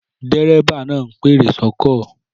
Dérébà náà ń pèrò sọ́kọ̀